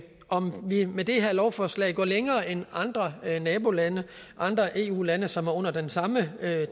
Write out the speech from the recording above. om vi med det her lovforslag går længere end andre nabolande andre eu lande som er under det samme